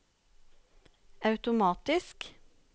automatisk